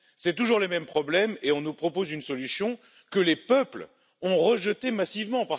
ce sont toujours les mêmes problèmes et on nous propose une solution que les peuples ont rejetée massivement.